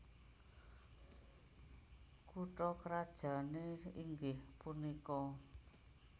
Kutha krajané inggih punika